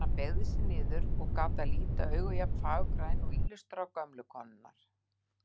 Þegar hann beygði sig niður gat að líta augu jafn fagurgræn og ýlustrá gömlu konunnar.